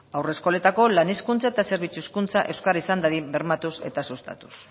haurreskoletako lan hezkuntza eta zerbitzu hezkuntza euskara izan dadin bermatuz eta sustatuz